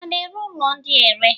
A na-ere ụlọ ndị a ere?